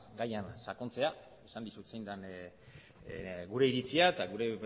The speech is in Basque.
gaian sakontzera esan dizut zein den gure iritzia eta gure